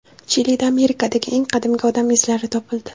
Chilida Amerikadagi eng qadimgi odam izlari topildi.